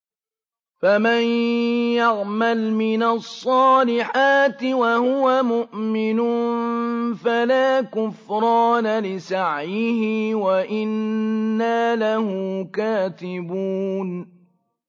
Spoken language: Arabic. فَمَن يَعْمَلْ مِنَ الصَّالِحَاتِ وَهُوَ مُؤْمِنٌ فَلَا كُفْرَانَ لِسَعْيِهِ وَإِنَّا لَهُ كَاتِبُونَ